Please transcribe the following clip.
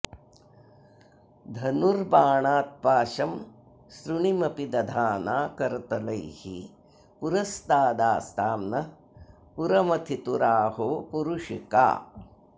धनुर्बाणान् पाशं सृणिमपि दधाना करतलैः पुरस्तादास्तां नः पुरमथितुराहोपुरुषिका